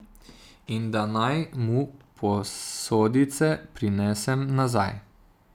In da naj mu posodice prinesem nazaj.